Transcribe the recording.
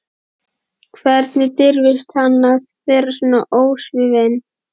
Hvernig dirfist hann að vera svona ósvífinn?